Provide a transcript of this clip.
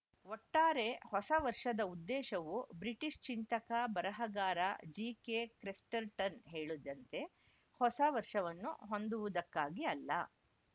ಒಟ್ಟಾರೆ ಹೊಸ ವರ್ಷದ ಉದ್ದೇಶವು ಬ್ರಿಟಿಷ್‌ ಚಿಂತಕ ಬರಹಗಾರ ಜಿಕೆಕ್ರೆಸ್ಟರ್‌ಟನ್‌ ಹೇಳುದಂತೆ ಹೊಸ ವರ್ಷವನ್ನು ಹೊಂದುವುದಕ್ಕಾಗಿ ಅಲ್ಲ